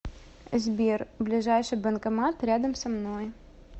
сбер ближайший банкомат рядом со мной